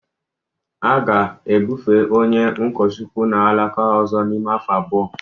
A ga-ebufe onye ụkọchukwu n'alaka ọzọ n'ime afọ abụọ